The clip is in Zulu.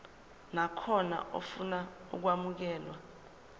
nakhona ofuna ukwamukelwa